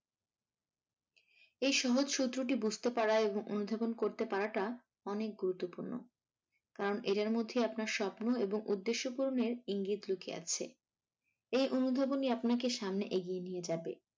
এই সহজ সূত্রটি বুঝতে পারা এবং অনুধাবন করতে পারাটা অনেক গুরুত্বপূর্ণ কারণ এদের মধ্যেই আপনার স্বপ্ন এবং উদ্দেশ্য পূরণের ইঙ্গিত লুকিয়ে আছে এই অনুধাবনই আপনাকে সামনে এগিয়ে নিয়ে যাবে।